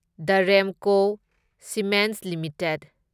the Ramco cements limited